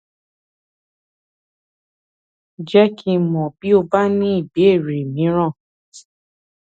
jẹ kí n mọ bí o bá ní ìbéèrè mìíràn